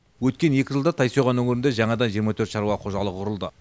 өткен екі жылда тайсойған өңірінде жаңадан жиырма төрт шаруа қожалығы құрылды